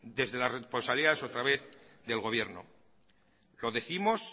desde la responsabilidad otra vez del gobierno lo décimos